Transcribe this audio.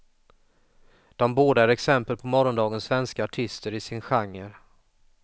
De båda är exempel på morgondagens svenska artister i sin genre.